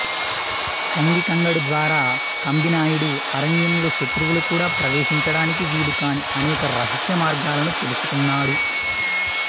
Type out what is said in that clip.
కంగి కంగడు ద్వారా కంబినాయడు అరణ్యంలో శత్రువులు కూడా ప్రవేశించడానికి వీలుకాని అనేక రహస్య మార్గాలను తెలుసుకొన్నాడు